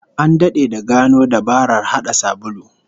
An dade da gano dabarar hada sabulu